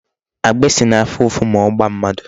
Agbịsị na-afụ ụfụ ma ọ gbaa mmadụ.